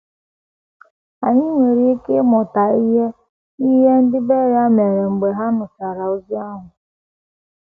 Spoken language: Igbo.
Anyị nwere ike ịmụta ihe n’ihe ndị Beria mere mgbe ha nụchara ozi ahụ.